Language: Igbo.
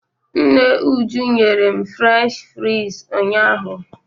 Nne Uju nyere m Frensh fraịz ụnyaahụ.